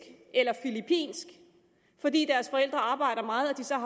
eller filippinsk fordi deres forældre arbejder meget